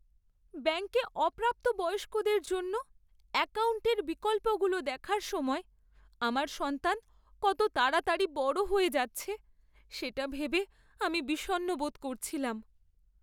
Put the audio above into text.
ব্যাঙ্কে অপ্রাপ্তবয়স্কদের জন্য অ্যাকাউন্টের বিকল্পগুলো দেখার সময় আমার সন্তান কত তাড়াতাড়ি বড় হয়ে যাচ্ছে সেটা ভেবে আমি বিষণ্ণ বোধ করছিলাম।